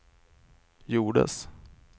gjordes